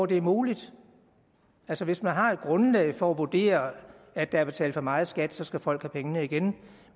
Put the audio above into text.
der er muligt altså hvis man har et grundlag for at vurdere at der er betalt for meget i skat så skal folk have pengene igen